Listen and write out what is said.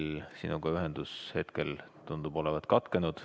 Ühendus sinuga tundub hetkel olevat katkenud.